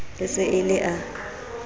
e se e le a